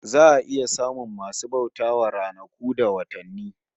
Za a iya samun masu bauta wa ranaku da watanni